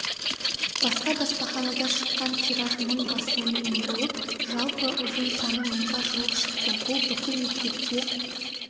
басқа баспаханада шыққан тираж мың басылымменболып жалпы ұзын саны мыңға жуық шықты бұл бүкіл мектепке